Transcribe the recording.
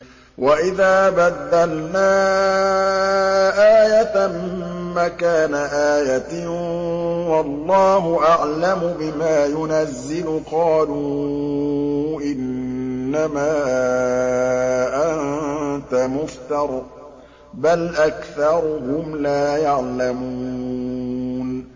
وَإِذَا بَدَّلْنَا آيَةً مَّكَانَ آيَةٍ ۙ وَاللَّهُ أَعْلَمُ بِمَا يُنَزِّلُ قَالُوا إِنَّمَا أَنتَ مُفْتَرٍ ۚ بَلْ أَكْثَرُهُمْ لَا يَعْلَمُونَ